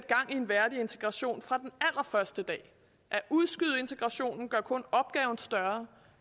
en værdig integration fra den allerførste dag at udskyde integrationen gør kun opgaven større